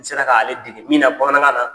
N sera k'ale dege min na bamanankan na.